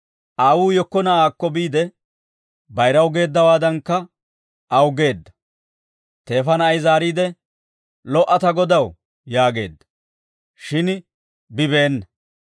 Aawuu yekko na'aakko biide, bayiraw geeddawaadankka aw geedda; teefa na'ay zaariide, ‹Lo"a ta godaw› yaageedda; shin bibeena.